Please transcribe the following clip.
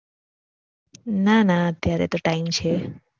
ના ના અત્યારે તો time છે